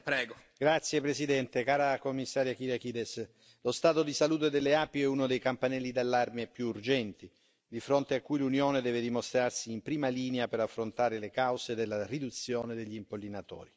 Signor Presidente, Commissario Kyriakides, onorevoli colleghi, lo stato di salute delle api è uno dei campanelli d'allarme più urgenti, di fronte a cui l'Unione deve dimostrarsi in prima linea per affrontare le cause della riduzione degli impollinatori.